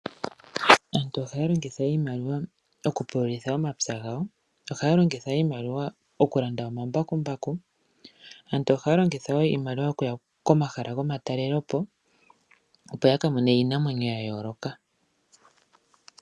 Aantu ohaya longitha iimaliwa okupululitha omapya gawo. Ohaya longitha iimaliwa okulanda omambakumbaku. Aantu ohaya longitha wo iimaliwa okuya komahala gomatalelopo, opo ya ka mone iinamwenyo ya yooloka.